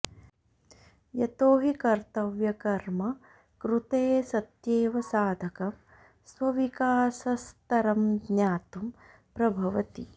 यतो हि कर्तव्यकर्म कृते सत्येव साधकं स्वविकासस्तरं ज्ञातुं प्रभवति